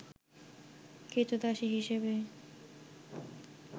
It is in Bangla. ক্রীতদাসী হিসেবে